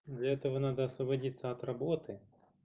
для этого надо освободиться от работы